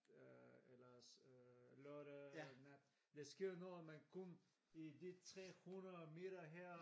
Øh eller øh lørdag nat der sker noget men kun i de 300 meter her